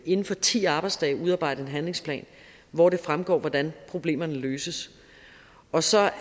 inden for ti arbejdsdage udarbejde en handlingsplan hvoraf det fremgår hvordan problemerne løses og så er